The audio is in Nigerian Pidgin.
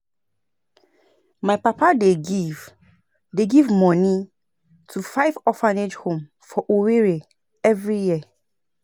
My papa dey give dey give moni to five orphanage home for Owerri every year.